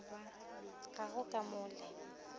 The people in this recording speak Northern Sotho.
ga go ka mo le